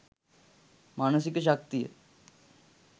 මානසික ශක්තිය